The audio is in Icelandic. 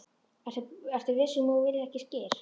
Ertu viss um að þú viljir ekki skyr?